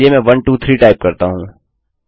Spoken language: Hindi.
चलिए मैं 123 टाइप करता हूँ